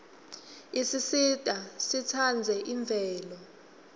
isisita sitsandze imvelo